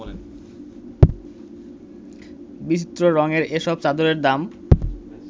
বিচিত্র রংয়ের এসব চাদরের দাম